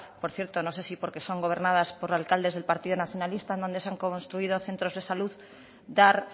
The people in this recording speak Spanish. por cierto no sé si porque son gobernadas por alcaldes del partido nacionalista en donde se han construido centros de salud a dar